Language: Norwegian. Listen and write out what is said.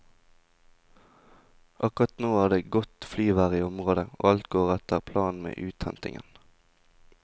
Akkurat nå er det godt flyvær i området, og alt går etter planen med uthentingen.